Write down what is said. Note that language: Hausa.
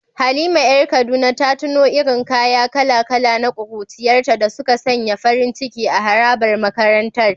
Halima ‘yar Kaduna ta tuno irin kaya kala-kala na kuruciyarta da suka sanya farin ciki a harabar makarantar.